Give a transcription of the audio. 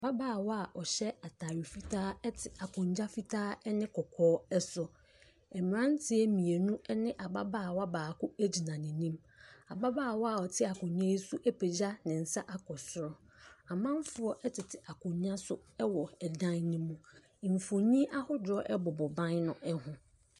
Ababaawa a ɔhyɛ atade fitaa te akonnwa fitaa ne kɔkɔɔ so. Mmeranteɛ mmienu ne ababaawa baako gyina n'anim. Ababaawa a ɔte akonnwa yi so yi apagya ne nsa akɔ so. Amanfoɔ tete akonnwa so wɔ dan.